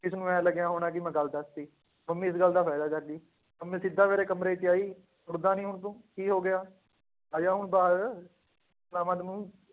ਇਸਨੂੰ ਇਉਂ ਲੱਗਿਆ ਹੋਣਾ ਕਿ ਮੈਂ ਗੱਲ ਦੱਸ ਦਿੱਤੀ, ਮੰਮੀ ਇਸ ਗੱਲ ਦਾ ਫ਼ਾਇਦਾ ਚੱਕ ਗਈ, ਮੰਮੀ ਸਿੱਧਾ ਮੇਰੇ ਕਮਰੇ ਚ ਆਈ ਉੱਠਦਾ ਨੀ ਹੁਣ ਤੂੰ ਕੀ ਹੋ ਗਿਆ, ਆ ਜਾ ਹੁਣ ਬਾਹਰ ਪਿਲਾਵਾਂ ਤੈਨੂੰ,